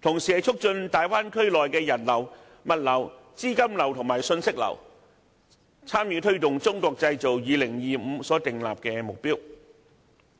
同時促進大灣區內的人流、物流、資金流和信息流，參與推動《中國製造2025》所訂立的目標。